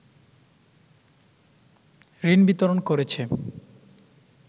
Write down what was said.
ঋণ বিতরণ করেছে